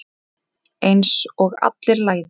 Einsog allir læðist.